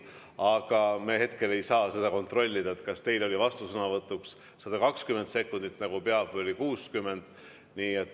Aga me hetkel ei saa kontrollida, kas teil oli vastusõnavõtuks 120 sekundit, nagu peab, või oli 60.